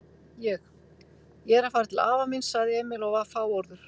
Ég. ég er að fara til afa míns, sagði Emil og var fáorður.